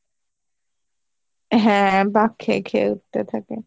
হ্যাঁ বাক খেয়ে খেয়ে উঠতে থাকে,